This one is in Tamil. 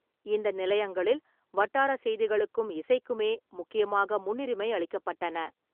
இந்த நிலையங்களில் வட்டாரச் செய்திகளுக்கும் இசைக்குமே முக்கியமாக முன்னுரிமை அளிக்கப்பட்டன.